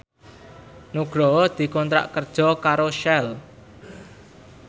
Nugroho dikontrak kerja karo Shell